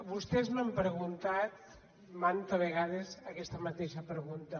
vostès m’han preguntat manta vegades aquesta mateixa pregunta